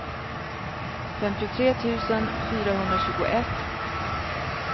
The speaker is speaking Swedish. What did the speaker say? femtiotre tusen fyrahundratjugoett